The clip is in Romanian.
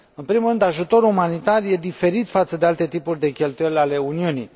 În primul rând, ajutorul umanitar este diferit față de alte tipuri de cheltuieli ale Uniunii.